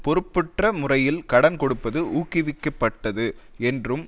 பொறுப்பற்ற முறையில் கடன் கொடுப்பது ஊக்குவிக்கப்பட்டது என்றும்